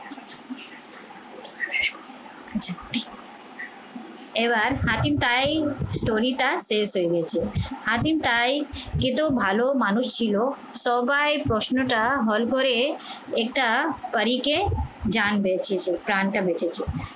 এবার হাতিম story টা শেষ হয়ে গেছে। হাতিম তাই এত ভালো মানুষ ছিল সবাই প্রশ্নটা হল করে এটা পরীকে জান বাচিয়েছে, প্রাণটা বেঁচেছে।